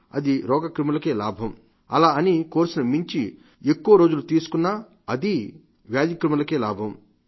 అలా అని కోర్సును మించి ఎక్కువ రోజులు తీసుకున్నా అదీ వ్యాధి క్రిములకే లాభం